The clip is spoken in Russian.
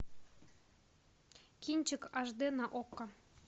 кинчик аш д на окко